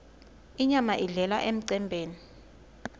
inyama idlelwa emcembeni